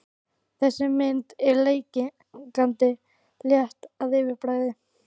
Þessi mynd er leikandi létt að yfirbragði.